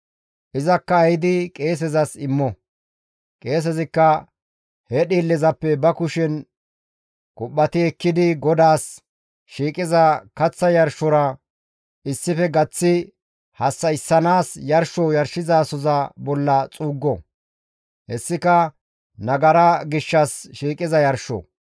Izakka ehidi qeesezas immo; qeesezikka he dhiillezappe ba kushen kuphphati ekkidi GODAAS shiiqiza kaththa yarshora issife gaththi hassa7issanaas yarsho yarshizasoza bolla xuuggo; hessika nagara gishshas shiiqiza yarsho.